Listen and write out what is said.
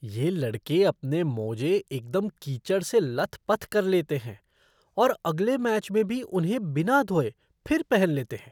ये लड़के अपने मोजे एकदम कीचड़ से लथपथ कर लेते हैं और अगले मैच में भी उन्हें बिना धोए फिर पहन लेते हैं।